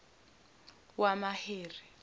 wamaheri